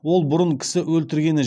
ол бұрын кісі өлтіргені